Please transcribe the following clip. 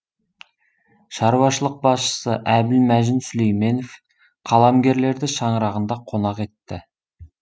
шаруашылық басшысы әбілмәжін сүлейменов қаламгерлерді шаңырағында қонақ етті